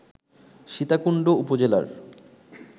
সীতাকুণ্ড উপজেলার